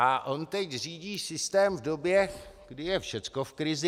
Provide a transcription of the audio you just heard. A on teď řídí systém v době, kdy je všechno v krizi.